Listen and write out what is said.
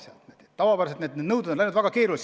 Ja tavapäraselt on nõuded läinud väga keeruliseks.